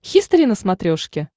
хистори на смотрешке